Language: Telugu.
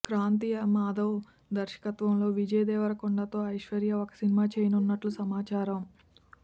క్రాంతి మాధవ్ దర్శకత్వంలో విజయ్ దేవరకొండ తో ఐశ్వర్య ఒక సినిమా చేయనున్నట్లు సమాచారం